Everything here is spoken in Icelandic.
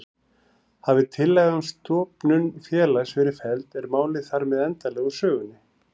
Hafi tillaga um stofnun félags verið felld er málið þar með endanlega úr sögunni.